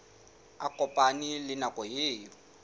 a kopane le nako eo